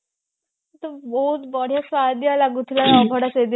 କିନ୍ତୁ ବହୁତ ବଢିଆ ସୁଆଦିଆ ଲାଗୁଥିଲା ଅଭଡା ସେଦିନ